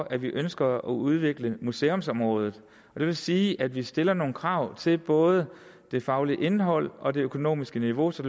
at vi ønsker at udvikle museumsområdet det vil sige at vi stiller nogle krav til både det faglige indhold og det økonomiske niveau så